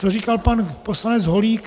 Co říkal pan poslanec Holík.